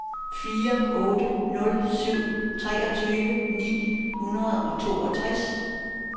fire otte nul syv treogtyve ni hundrede og toogtres